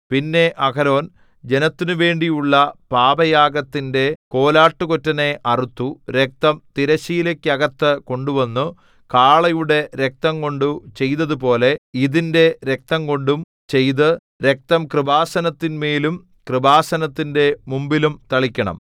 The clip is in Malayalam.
പിന്നെ അഹരോൻ ജനത്തിനുവേണ്ടിയുള്ള പാപയാഗത്തിന്റെ കോലാട്ടുകൊറ്റനെ അറുത്തു രക്തം തിരശ്ശീലയ്ക്കകത്തു കൊണ്ടുവന്നു കാളയുടെ രക്തംകൊണ്ടു ചെയ്തതുപോലെ ഇതിന്റെ രക്തംകൊണ്ടും ചെയ്ത് രക്തം കൃപാസനത്തിന്മേലും കൃപാസനത്തിന്റെ മുമ്പിലും തളിക്കണം